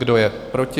Kdo je proti?